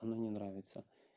оно мне нравится